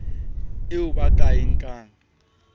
eo ba ka e nkang